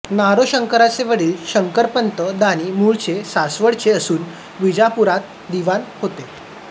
नारोशंकरांचे वडील शंकरपंत दाणी मुळचे सासवडचे असून विजापुरात दिवाण होते